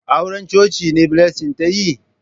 Auran coci ne Blessing ta yi?